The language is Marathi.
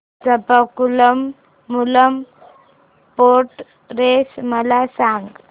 चंपाकुलम मूलम बोट रेस मला सांग